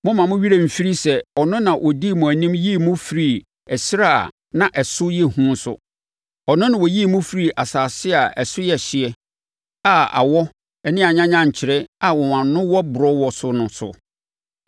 Mommma mo werɛ mfiri sɛ ɔno na ɔdii mo anim yii mo firii ɛserɛ a na ɛso yɛ hu so. Ɔno na ɔyii mo firii asase a ɛso yɛ hye, a awɔ ne anyanyankyerɛ a wɔn ano wɔ borɔ wɔ so no so. Ɔmaa mo nsuo firi ɔbotan mu.